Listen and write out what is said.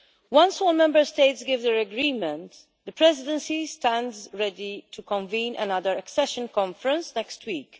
Once all Member States give their agreement, the Presidency stands ready to convene another accession conference next week.